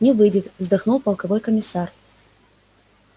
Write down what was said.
не выйдет вздохнул полковой комиссар